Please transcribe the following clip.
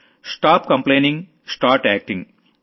stop complaining start acting